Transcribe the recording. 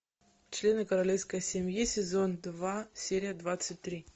члены королевской семьи сезон два серия двадцать три